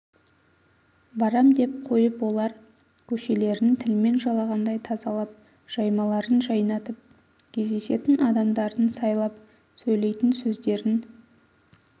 барам деп қойып олар көшелерін тілмен жалағандай тазалап жаймаларын жайнатып кездесетін адамдарын сайлап сөйлейтін сөздерін